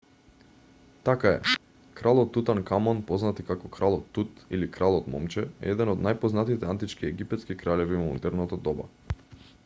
така е кралот тутанкамон познат и како кралот тут или кралот момче е еден од најпознатите антички египетски кралеви во модерното доба